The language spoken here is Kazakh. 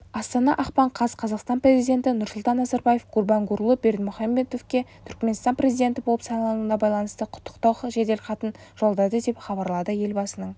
астана ақпан қаз қазақстан президенті нұрсұлтан назарбаев гурбангулы бердімұхамедовке түрікменстан президенті болып сайлануына байланысты құттықтау жеделхатын жолдады деп хабарлады елбасының